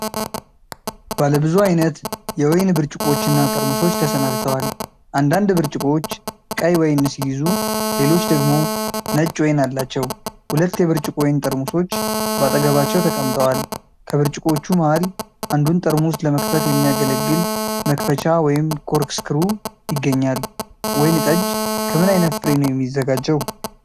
ባለብዙ አይነት የወይን ብርጭቆዎች እና ጠርሙሶች ተሰናድተዋል። አንዳንድ ብርጭቆዎች ቀይ ወይን ሲይዙ፣ ሌሎች ደግሞ ነጭ ወይን አላቸው። ሁለት የብርጭቆ ወይን ጠርሙሶች በአጠገባቸው ተቀምጠዋል። ከብርጭቆዎቹ መሃል አንዱን ጠርሙስ ለመክፈት የሚያገለግል መክፈቻ (ኮርክስክሩ) ይገኛል። ወይን ጠጅ ከምን ዓይነት ፍሬ ነው የሚዘጋጀው?